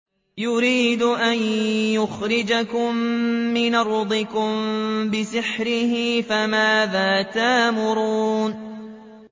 يُرِيدُ أَن يُخْرِجَكُم مِّنْ أَرْضِكُم بِسِحْرِهِ فَمَاذَا تَأْمُرُونَ